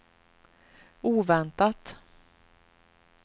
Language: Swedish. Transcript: oväntat